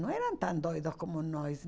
Não eram tão doidos como nós.